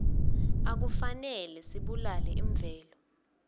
akufanele sibulale imvelo